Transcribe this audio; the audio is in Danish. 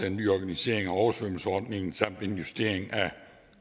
en ny organisering af oversvømmelsesordningen samt en justering af